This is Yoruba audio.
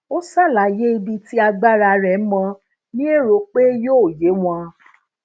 ó ṣàlàyé ibi ti agbara re mo ni ero pe yoo ye won